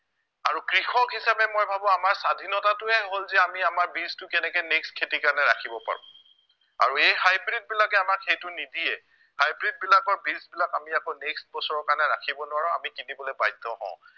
আৰু কৃষক হিচাপে মই ভাৱো আমাৰ স্ৱাধীনতাটোৱেই হ'ল যে আমি আমাৰ বীজটো কেনেকে next খেতিৰ কাৰণে ৰাখিব পাৰো আৰু এই hybrid বিলাকে আমাক সেইটো নিদিয়ে hybrid বিলাকৰ বীজবিলাক আমি আকৌ next বছৰৰ কাৰণে ৰাখিব নোৱাৰো আমি কিনিবলে বাধ্য় হও